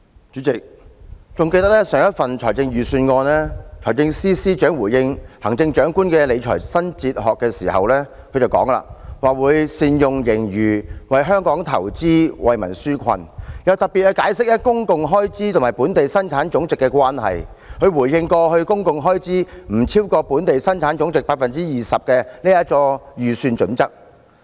主席，記得財政司司長就上一份財政預算案回應行政長官的理財新哲學時，表示會"善用盈餘、為香港投資、為民紓困"，又特別解釋公共開支與本地生產總值的關係，以回應有關公共開支不超越本地生產總值 20% 的財政預算準則。